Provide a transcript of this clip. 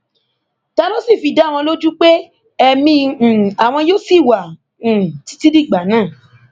ta ló sì fi dá àwọn lójú pé ẹmí um àwọn yóò ṣì wà um títí dìgbà náà